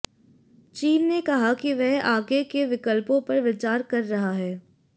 चीन ने कहा कि वह आगे के विकल्पों पर विचार कर रहा है